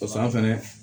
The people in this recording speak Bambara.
Pasa fɛnɛ